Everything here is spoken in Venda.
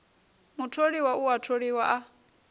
mutholiwa u a tholiwa a